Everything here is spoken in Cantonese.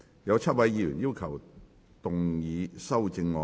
有7位議員要動議修正案。